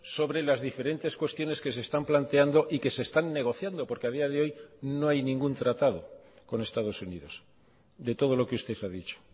sobre las diferentes cuestiones que se están planteando y que se están negociando porque a día de hoy no hay ningún tratado con estados unidos de todo lo que usted ha dicho